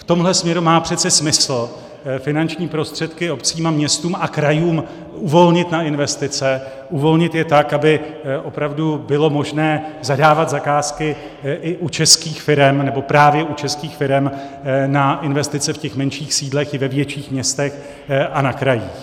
V tomhle směru má přece smysl finanční prostředky obcím a městům a krajům uvolnit na investice, uvolnit je tak, aby opravdu bylo možné zadávat zakázky i u českých firem, nebo právě u českých firem na investice v těch menších sídlech i ve větších městech a na krajích.